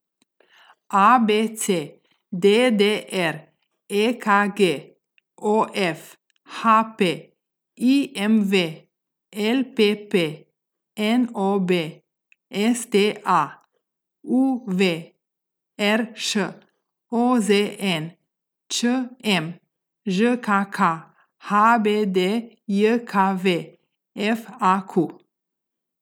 A B C; D D R; E K G; O F; H P; I M V; L P P; N O B; S T A; U V; R Š; O Z N; Č M; Ž K K; H B D J K V; F A Q.